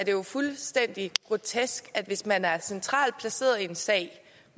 er jo fuldstændig grotesk at hvis man er centralt placeret i en sag